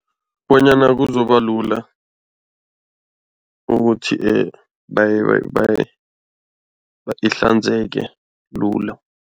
Bonyana kuzoba lula ukuthi ihlanzeke lula.